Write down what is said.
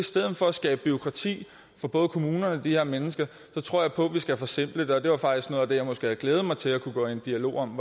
stedet for at skabe bureaukrati for både kommunerne og de her mennesker tror jeg på at vi skal forsimple det det var faktisk noget af det jeg måske havde glædet mig til at gå i dialog om